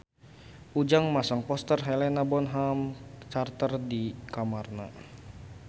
Ujang masang poster Helena Bonham Carter di kamarna